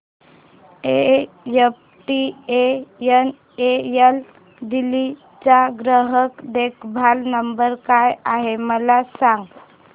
MTNL Delhi चा ग्राहक देखभाल नंबर काय आहे मला सांग